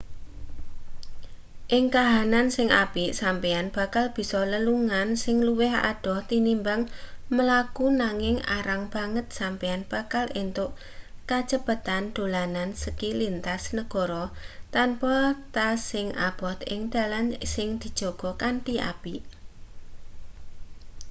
ing kahanan sing apik sampeyan bakal bisa lelungan sing luwih adoh tinimbang mlaku nanging arang banget sampeyan bakal entuk kacepetan dolanan ski lintas negara tanpa tas sing abot ing dalan sing dijaga kanthi apik